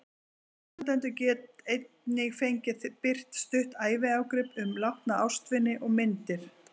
Aðstandendur get einnig fengið birt stutt æviágrip um látna ástvini og myndir.